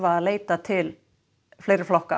að leita til fleiri flokka